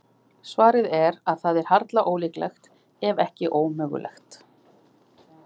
Svarið er að það er harla ólíklegt, ef ekki ómögulegt.